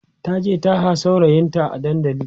taje taha saurayinta a dandali